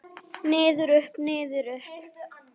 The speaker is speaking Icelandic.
Niður, upp, niður upp.